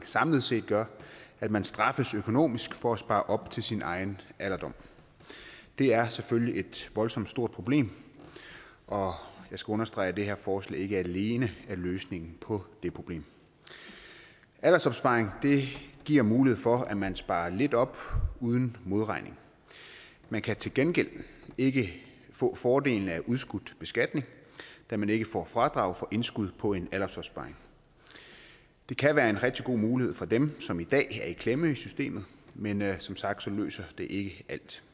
samlet set gør at man straffes økonomisk for at spare op til sin egen alderdom det er selvfølgelig et voldsomt stort problem og jeg skal understrege at det her forslag ikke alene er løsningen på det problem aldersopsparing giver mulighed for at man sparer lidt op uden modregning man kan til gengæld ikke få fordelene af udskudt beskatning da man ikke får fradrag for indskud på en aldersopsparing det kan være en rigtig god mulighed for dem som i dag er i klemme i systemet men som sagt løser det ikke